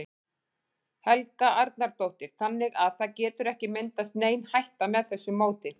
Helga Arnardóttir: Þannig að það getur ekki myndast nein hætta með þessu móti?